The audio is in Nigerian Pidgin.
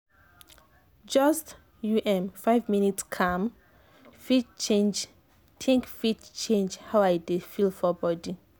just um five minutes calm-think fit change how i dey feel for body